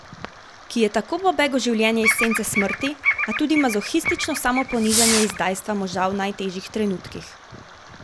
Ki je tako pobeg v življenje iz sence smrti, a tudi mazohistično samoponižanje izdajstva moža v najtežjih trenutkih.